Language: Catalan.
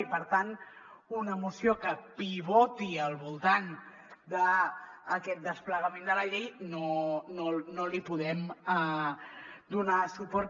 i per tant a una moció que pivoti al voltant d’aquest desplegament de la llei no li podem donar suport